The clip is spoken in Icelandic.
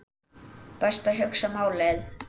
Best að hugsa málið.